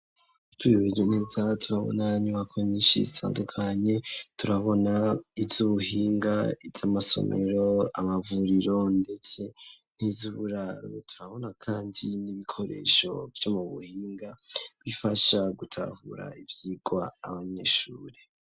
Twihweje neza turabona inyubako nyinshi cane zitandukanye turabona iy'ubuhinga y'amasomero amavuriro ndetse n'iz'uburare turabona kandi n'ibikoresho byomu buhinga bifasha gutahura ibyigwa abanyeshuri